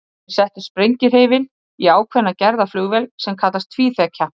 Þeir settu sprengihreyfil í ákveðna gerð af flugvél sem kallast tvíþekja.